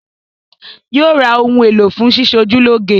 Yóò ra ohun èlò fún sísọjúlọ́ge